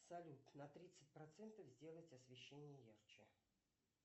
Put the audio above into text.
салют на тридцать процентов сделать освещение ярче